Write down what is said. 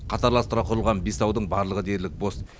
қатарластыра құрылған бес аудың барлығы дерлік бос